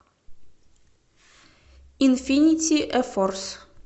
инфинити эфорс